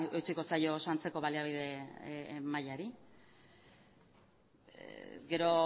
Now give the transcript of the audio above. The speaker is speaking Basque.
eutsiko zaio oso antzeko baliabide mailari gero